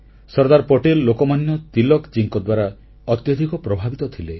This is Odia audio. ସର୍ଦ୍ଦାର ପଟେଲ ଲୋକମାନ୍ୟ ତିଳକ ଜୀଙ୍କ ଦ୍ୱାରା ଅତ୍ୟଧିକ ପ୍ରଭାବିତ ଥିଲେ